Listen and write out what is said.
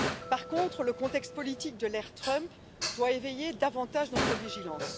Par contre, le contexte politique de l'ère Trump doit éveiller davantage notre vigilance.